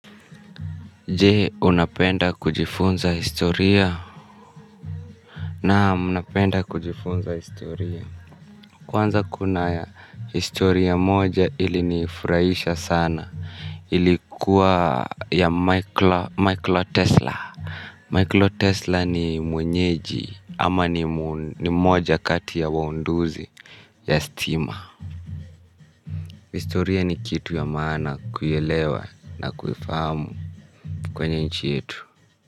Je unapenda kujifunza historia naam napenda kujifunza historia kuwanza kuna historia moja ili nifurahisha sana ilikuwa ya michael tesla michael tesla ni mwenyeji ama ni moja kati ya waunduzi ya stima historia nikituya maana kuelewa na kuifahamu kwenye nchi yetu.